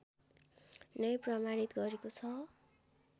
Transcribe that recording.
नै प्रमाणित गरेको छ